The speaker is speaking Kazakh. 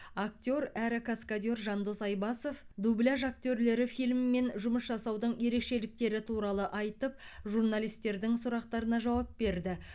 актер әрі каскадер жандос айбасов дубляж актерлері фильмімен жұмыс жасаудың ерекшеліктері туралы айтып журналистердің сұрақтарына жауап берді